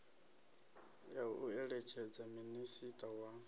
ya u eletshedza minisiṱa wa